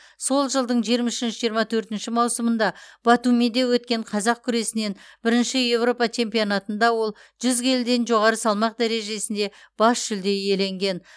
сол жылдың жиырма үшінші жиырма төртінші маусымында батумиде өткен қазақ күресінен бірінші еуропа чемпионатында ол жүз келіден жоғары салмақ дәрежесінде бас жүлде иеленген